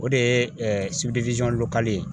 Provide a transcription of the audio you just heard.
O de ye ye